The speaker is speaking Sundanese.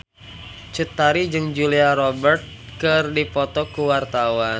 Cut Tari jeung Julia Robert keur dipoto ku wartawan